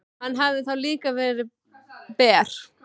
Hann hefði þá líka verið ber.